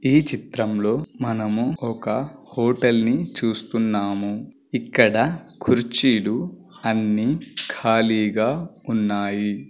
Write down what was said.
ఈ చిత్రం లో మనమూ ఒక హోటల్ని చూస్తున్నాము. ఇక్కడ కుర్చీలు అన్నీ ఖాళీగా ఉన్నాయి.